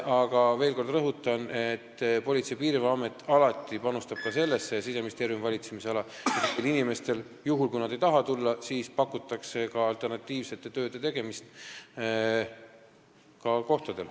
Aga veel kord rõhutan, et Politsei- ja Piirivalveamet ning üldse Siseministeeriumi valitsemisala asutused panustavad sellesse, et juhul, kui inimesed ei taha Tallinnasse tulla, pakutaks alternatiivset tööd kohapeal.